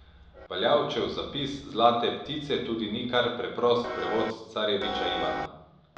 Valjavčev zapis Zlate ptice tudi ni kar preprost prevod Carjeviča Ivana.